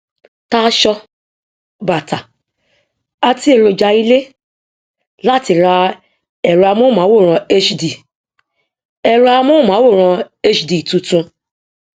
tà aṣọ bàtà àti èròja ilé láti ra ẹrọamóhùnmáwòrán hd ẹrọamóhùnmáwòrán hd tuntun